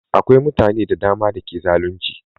Akwai mutane da dama da ke zalunci